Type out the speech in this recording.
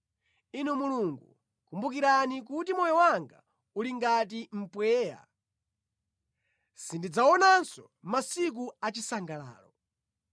Inu Mulungu kumbukirani kuti moyo wanga uli ngati mpweya; sindidzaonanso masiku achisangalalo.